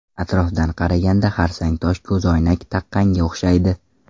Atrofdan qaraganda xarsangtosh ko‘zoynak taqqanga o‘xshaydi.